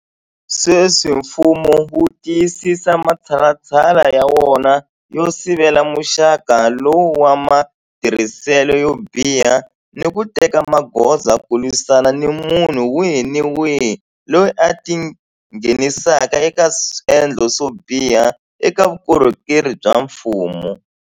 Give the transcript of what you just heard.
Sweswi mfumo wu tiyisisa matshalatshala ya wona yo sivela muxaka lowu wa matirhiselo yo biha ni ku teka magoza ku lwisana ni munhu wihi ni wihi loyi a tingheni saka eka swendlo swo biha eka vukorhokeri bya mfumo.